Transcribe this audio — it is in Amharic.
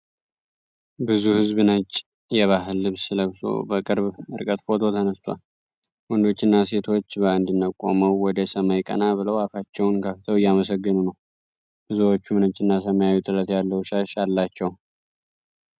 ብዙ ሕዝብ ነጭ የባህል ልብስ ለብሶ በቅርብ ርቀት ፎቶ ተነስቷል። ወንዶችና ሴቶች በአንድነት ቆመው ወደ ሰማይ ቀና ብለው አፋቸውን ከፍተው እያመሰገኑ ነው። ብዙዎቹም ነጭና ሰማያዊ ጥለት ያለው ሻሽ አላቸው።